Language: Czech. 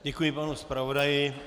Děkuji panu zpravodaji.